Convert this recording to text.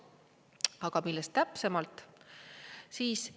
Aga millest täpsemalt?